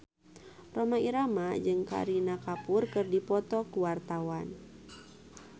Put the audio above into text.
Rhoma Irama jeung Kareena Kapoor keur dipoto ku wartawan